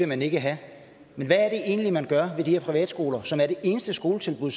man ikke have men hvad er det egentlig man gør ved de her privatskoler som er det eneste skoletilbud